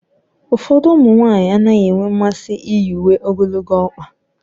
Ụfọdụ ụmụ nwanyị anaghị enwe mmasị iyi uwe ogologo ọkpa